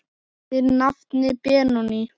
Þinn nafni Benóný.